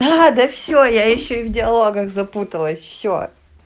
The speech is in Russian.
да все я ещё в диалогах запуталась все